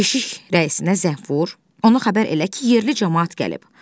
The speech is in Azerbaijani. Keşik rəisinə zəng vur, ona xəbər elə ki, yerli camaat gəlib.